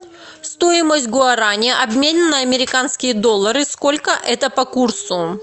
стоимость гуарани обмен на американские доллары сколько это по курсу